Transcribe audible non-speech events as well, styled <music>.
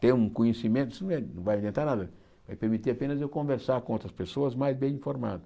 ter um conhecimento, isso <unintelligible> não vai inventar nada, vai permitir apenas eu conversar com outras pessoas mais bem informadas.